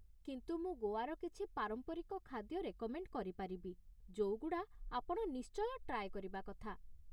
କିନ୍ତୁ ମୁଁ ଗୋଆର କିଛି ପାରମ୍ପରିକ ଖାଦ୍ୟ ରେକମେଣ୍ଡ୍ କରିପାରିବି ଯୋଉଗୁଡ଼ା ଆପଣ ନିଶ୍ଚୟ ଟ୍ରାଏ କରିବା କଥା ।